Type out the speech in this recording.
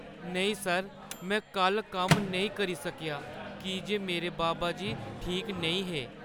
नेईं सर, में कल्ल कम्म नेईं करी सकेआ की जे मेरे बाबा जी ठीक नेईं हे।